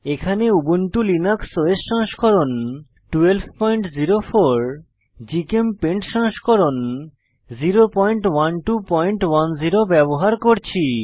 এখানে Ubuntu Linux OS সংস্করণ 1204 GChemPaint সংস্করণ 01210 ব্যবহার করছি